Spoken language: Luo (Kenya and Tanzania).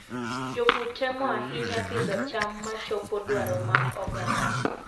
Jopur temo ahinya pidho cham machopo dwaro mag oganda.